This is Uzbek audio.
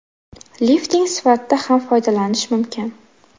Lifting sifatida ham foydalanish mumkin.